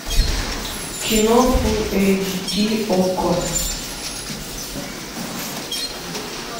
кино фул эйч ди окко